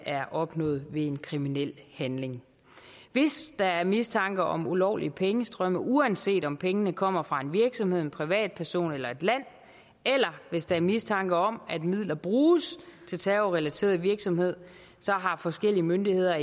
er opnået ved en kriminel handling hvis der er mistanke om ulovlige pengestrømme uanset om pengene kommer fra en virksomhed en privatperson eller et land eller hvis der er mistanke om at midler bruges til terrorrelateret virksomhed så har forskellige myndigheder